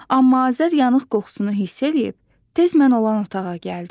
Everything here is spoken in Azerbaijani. Amma Azər yanıq qoxusunu hiss eləyib, tez mən olan otağa gəldi.